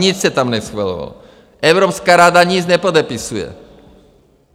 Nic se tam neschvalovalo, Evropská rada nic nepodepisuje.